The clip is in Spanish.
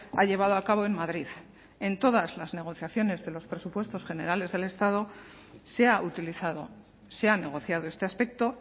ha llevado a cabo en madrid en todas las negociaciones de los presupuestos generales del estado se ha utilizado se ha negociado este aspecto